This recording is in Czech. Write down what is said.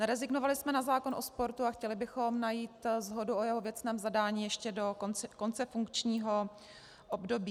Nerezignovali jsme na zákon o sportu a chtěli bychom najít shodu o jeho věcném zadání ještě do konce funkčního období.